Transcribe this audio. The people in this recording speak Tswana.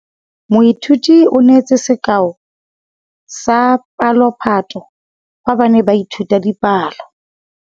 Moithuti o neetse sekaô sa palophatlo fa ba ne ba ithuta dipalo.